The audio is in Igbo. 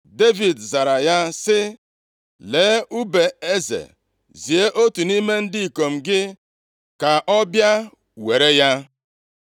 Devid zara ya sị, “Lee ùbe eze, Zie otu nʼime ndị ikom gị ka ọ bịa were ya.